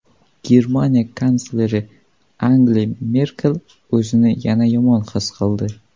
Germaniya kansleri Angela Merkel o‘zini yana yomon his qildi.